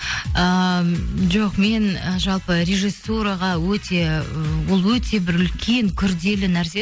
ыыы жоқ мен і жалпы режиссураға өте і ол өте бір үлкен күрделі нәрсе